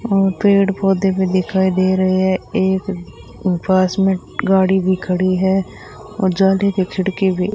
और पेड़ पौधे भी दिखाई दे रहे हैं एक उ पास में गाड़ी भी खड़ी है और खिड़की भी